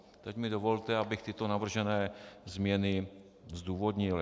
Teď mi dovolte, abych tyto navržené změny zdůvodnil.